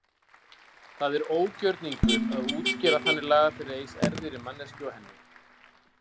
Það er ógjörningur að útskýra þannig lagað fyrir eins erfiðri manneskju og henni.